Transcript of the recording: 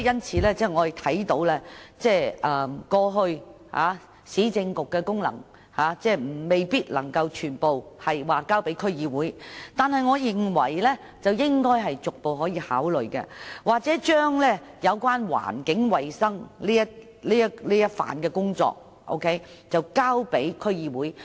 事實上，我們明白過去市政局的功能，未必可以全部交給區議會，但我認為政府應逐步考慮這做法，又或將有關環境衞生的工作交給區議會。